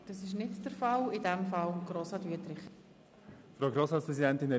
Ich bitte Sie, dem Postulat zuzustimmen.